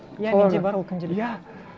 иә менде бар ол күнделік иә